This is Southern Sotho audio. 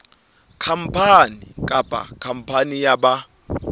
khampani kapa khampani ya ba